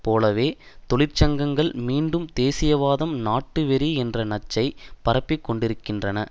போலவே தொழிற்சங்கங்கள் மீண்டும் தேசியவாதம் நாட்டு வெறி என்ற நச்சைப் பரப்பிக் கொண்டிருக்கின்றன